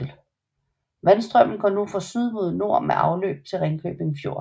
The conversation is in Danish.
Vandstrømmen går nu fra syd mod nord med afløb til Ringkøbing Fjord